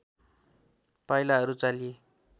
पाइलाहरू चालिए